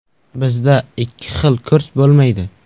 Bizda ikki xil kurs bo‘lmaydi.